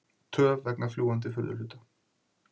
Töf vegna fljúgandi furðuhluta